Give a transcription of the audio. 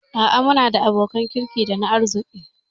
A'a muna da abokan kirki dana arziki